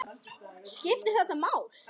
Skiptir þetta máli??